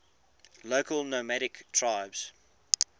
local nomadic tribes